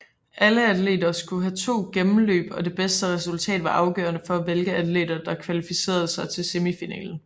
Alle atleter havde to gennemløb og det bedste resultat var afgørende for hvilke atleter der kvalificerede sig til semifinalen